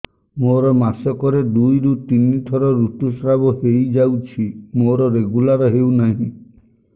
ମୋର ମାସ କ ରେ ଦୁଇ ରୁ ତିନି ଥର ଋତୁଶ୍ରାବ ହେଇଯାଉଛି ମୋର ରେଗୁଲାର ହେଉନାହିଁ